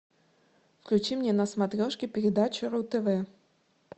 включи мне на смотрешке передачу ру тв